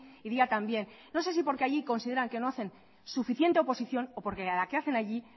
y día también no sé si porque allí consideran que no hacen suficiente oposición o porque la que hacen allí